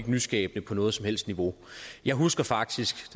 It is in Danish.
nyskabende på noget som helst niveau jeg husker faktisk